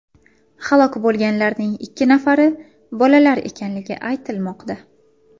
Halok bo‘lganlarning ikki nafari bolalar ekanligi aytilmoqda.